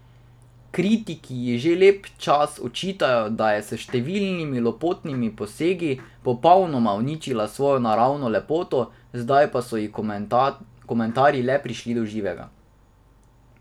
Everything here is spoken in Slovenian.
Kritiki ji že lep čas očitajo, da je s številnimi lepotnimi posegi popolnoma uničila svojo naravno lepoto, zdaj pa so ji komentarji le prišli do živega.